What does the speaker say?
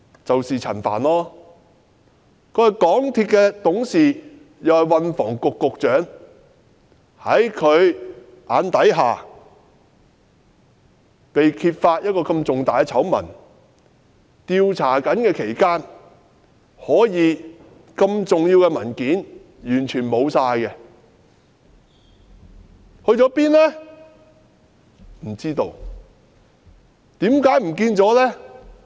就是陳帆局長，他是港鐵公司董事，也是運輸及房屋局局長，在他眼底下，這麼大的醜聞被揭發，而在調查期間，這麼重要的文件可以完全消失，究竟去了哪裏？